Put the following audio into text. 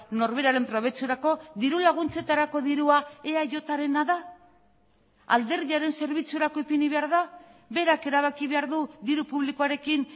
norberaren probetxurako dirulaguntzetarako dirua eajrena da alderdiaren zerbitzurako ipini behar da berak erabaki behar du diru publikoarekin